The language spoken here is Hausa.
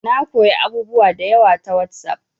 Na koya abubuwa da yawa ta WhatsApp